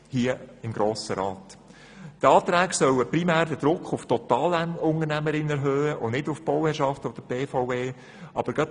Die Anträge sollen primär den Druck auf die Totalunternehmen erhöhen und nicht auf die Bauherrschaft oder die BVE.